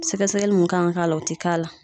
Sɛgɛsɛgɛli mun kan ka ka la o te k'a la.